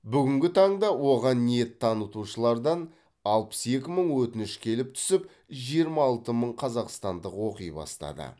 бүгінгі таңда оған ниет танытушылардан алпыс екі мың өтініш келіп түсіп жиырма алты мың қазақстандық оқи бастады